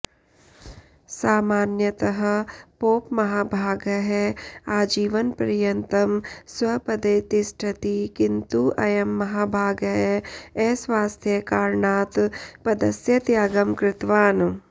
सामान्यतः पोपमहाभागः आजीवनपर्यन्तं स्वपदे तिष्ठति किन्तु अयं महाभागः अस्वास्थ्यकारणात् पदस्य त्यागं कृतवान्